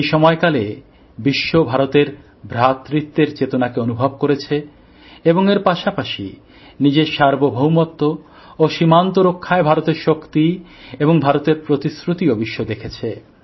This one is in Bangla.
এই সময়কালে বিশ্ব ভারতের ভ্রাতৃত্বের চেতনাকে অনুভব করেছে এবং এর পাশাপাশি নিজের সার্বভৌমত্ব ও সীমান্ত রক্ষায় ভারতের শক্তি এবং ভারতের প্রতিশ্রুতিও দেখেছে